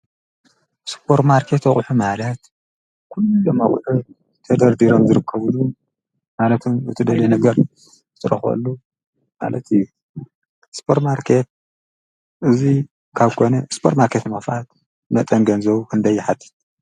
ሱፖር ማርኬት ኣቑሑ ማለት ኩሎም ኣቑሑት ተደርዲሮም ዝርከብሉ ማለትም እትደልዮ ነገር እትረኽበሉ ማለት እዩ። ሱፖር ማርኬት እዙይ ካብ ኮነ ሱፖር ማርኬት ንምክፋት መጠን ገንዘቡ ክንደይ ይሓትት?